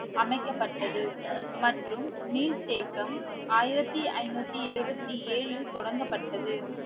அமைக்கப்பட்டது மற்றும் நீர்த்தேக்கம் ஆயிரத்தி ஐநூத்தி எழுபத்தி ஏழில் தொடங்கப்பட்டது